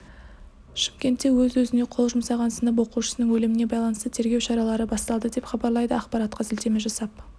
шымкентте өз-өзіне қол жұмсаған сынып оқушысының өліміне байланысты тергеу шаралары басталды деп хабарлайды ақпаратқа сілтеме жасап